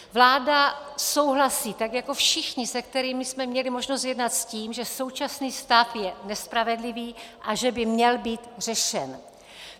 Vláda souhlasí, tak jako všichni, se kterými jsme měli možnost jednat, s tím, že současný stav je nespravedlivý a že by měl být řešen.